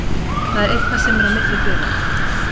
Það er eitthvað sem er á milli félaganna.